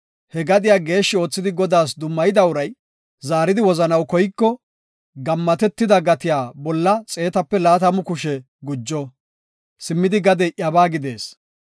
He gadiya geeshshi oothidi Godaas dummayida uray zaaridi wozanaw koyiko, gammatetida gatiya bolla xeetape laatamu kushe gujo; simmidi gadey iyabaa gidees.